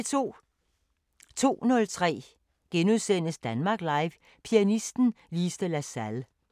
02:03: Danmark Live – Pianisten Lise de la Salle *